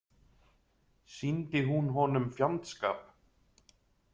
Sýndi hún honum fjandskap?